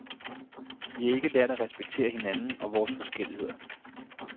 Vi har ikke lært at respektere hinanden og vores forskelligheder.